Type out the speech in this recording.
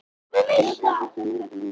Grjót hafði hrunið úr hlíðinni